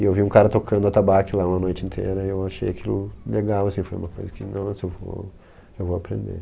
E eu vi um cara tocando atabaque lá uma noite inteira e eu achei aquilo legal, assim, foi uma coisa que, nossa, eu vou, eu vou aprender.